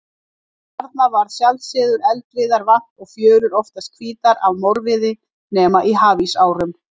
Þarna varð sjaldan eldiviðar vant og fjörur oftast hvítar af morviði, nema í hafísárum.